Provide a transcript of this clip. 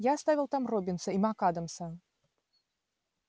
я оставил там роббинса и мак-адамса